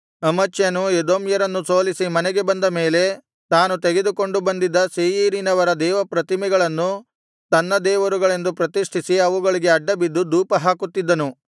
ಅಮಚ್ಯನು ಎದೋಮ್ಯರನ್ನು ಸೋಲಿಸಿ ಮನೆಗೆ ಬಂದ ಮೇಲೆ ತಾನು ತೆಗೆದುಕೊಂಡು ಬಂದಿದ್ದ ಸೇಯೀರಿನವರ ದೇವತಾಪ್ರತಿಮೆಗಳನ್ನು ತನ್ನ ದೇವರುಗಳೆಂದು ಪ್ರತಿಷ್ಠಿಸಿ ಅವುಗಳಿಗೆ ಅಡ್ಡಬಿದ್ದು ಧೂಪ ಹಾಕುತ್ತಿದ್ದನು